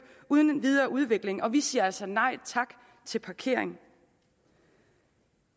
uden videre udvikling vil vi siger altså nej tak til parkering